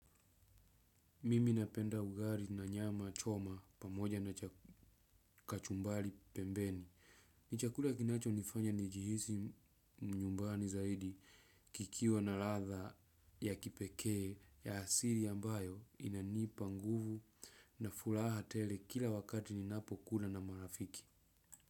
Mimi napenda ugari na nyama choma pamoja na kachumbali pembeni. Nichakula kinacho nifanya nijihisi mnyumbani zaidi kikiwa na latha ya kipekee ya asiri ambayo inanii panguvu na fulaha tele kila wakati ninapo kula na marafiki.